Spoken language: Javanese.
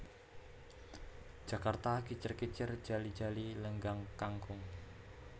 Jakarta Kicir kicir Jali jali Lenggang Kangkung